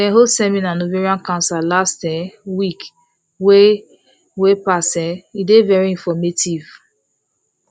dem hold seminar on ovarian cancer last um week wey wey pass um e dey very informative